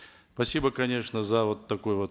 спасибо конечно за вот такое вот